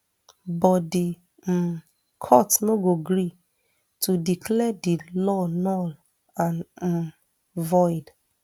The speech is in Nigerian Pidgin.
but di um court no gree to declare di law null and um void